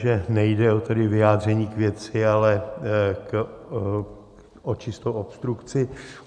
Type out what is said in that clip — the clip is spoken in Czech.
Že nejde tedy o vyjádření k věci, ale o čistou obstrukci.